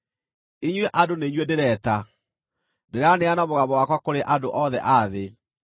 “Inyuĩ andũ nĩ inyuĩ ndĩreeta; ndĩraanĩrĩra na mũgambo wakwa kũrĩ andũ othe a thĩ.